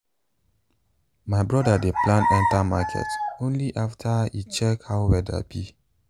my brother dey plan enter market only after e check how weather be.